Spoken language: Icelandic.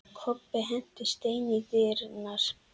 Kobbi henti steini í dyrnar.